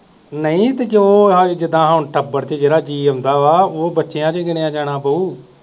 ਨਹੀਂ ਤੇ ਜੋ ਆਹ ਜਿਦਾਂ ਹੁਣ ਟੱਬਰ ਚ ਜਿਹੜਾ ਜੀਅ ਆਉਂਦਾ ਵਾ ਉਹ ਬੱਚਿਆਂ ਚੋਂ ਗਿਣਿਆ ਜਾਣਾ ਭਊ